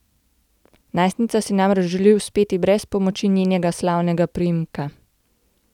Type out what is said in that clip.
Najstnica si namreč želi uspeti brez pomoči njenega slavnega priimka.